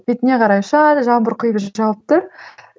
бетіңе қарай ұшады жаңбыр құйып жауып тұр